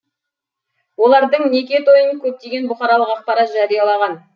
олардың неке тойын көптеген бұқаралық ақпарат жариялағған